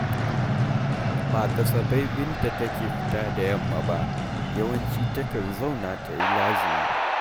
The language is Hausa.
Ba kasafai Binta take fita da yamma ba, yawanci takan zauna ta yi ta lazimi